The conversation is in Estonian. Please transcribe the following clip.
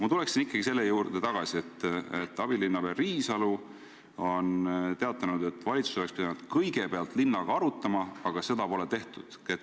Ma tulen ikkagi selle juurde tagasi, et abilinnapea Riisalu on teatanud, et valitsus oleks pidanud kõigepealt linnaga arutama, aga seda pole tehtud.